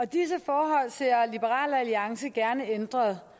disse forhold ser liberal alliance gerne ændret